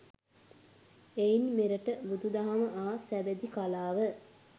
එයින් මෙරට බුදුදහම හා සබැඳි කලාව